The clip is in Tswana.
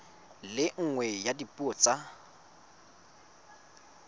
le nngwe ya dipuo tsa